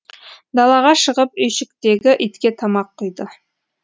далаға шығып үйшіктегі итке тамақ құйды